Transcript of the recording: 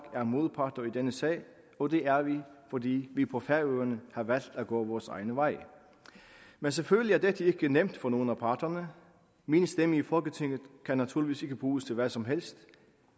er modparter i denne sag og det er vi fordi vi på færøerne har valgt at gå vores egne veje men selvfølgelig er dette ikke nemt for nogen af parterne min stemme i folketinget kan naturligvis ikke bruges til hvad som helst